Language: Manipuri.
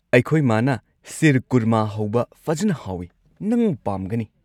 ꯑꯩꯈꯣꯏ ꯃꯥꯅ ꯁꯤꯔꯀꯨꯔꯃꯥ ꯍꯧꯕ ꯐꯖꯟꯅ ꯍꯥꯎꯏ, ꯅꯪ ꯄꯥꯝꯒꯅꯤ꯫